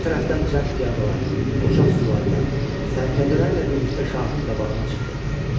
Bu tərəfdən cəz piyadalar, qoçaq süvarilər, sərdələrlə birlikdə şahın qabağına çıxdı.